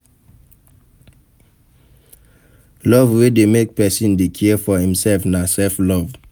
Love wey de make persin de care for imself na self love